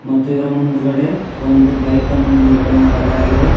ಮತ್ತೆ ಇದ್ರ ಮುಂದುಗಡೆ ಒಂದು ಬೈಕನ್ನು ನಿಲ್ಲುಗಡೆ ಮಾಡಲಾಗಿದೆ.